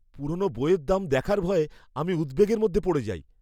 পুরনো বইয়ের দাম দেখার ভয়ে আমি উদ্বেগের মধ্যে পড়ে যাই।